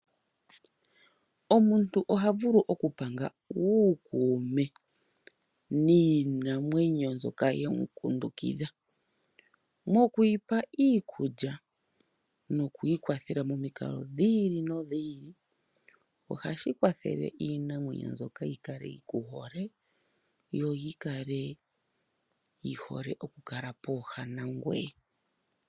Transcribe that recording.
Omuntu oha vulu oku panga uukume niinamwenyo mbyoka yemukundukidha, mokuyipa iikulya nokuyi kwathela momikalo dhiili nodhiili, ohashi kwathele iinamwenyo mbyoka yi kale yikuhole yo yikale yihole oku kala pooha nangweye.